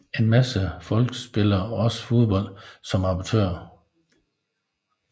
En masse folk spiller også fodbold som amatører